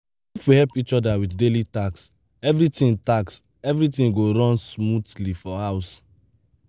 if we help each other with daily tasks everything tasks everything go run smoothly for house.